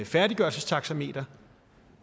færdiggørelsestaxameteret